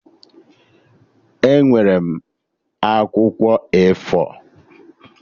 Enwere m akwụkwọ A4